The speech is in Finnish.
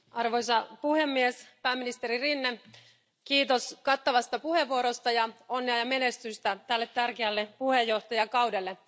Arvoisa puhemies, pääministeri Rinne, kiitos kattavasta puheenvuorosta ja onnea ja menestystä tälle tärkeälle puheenjohtajakaudelle.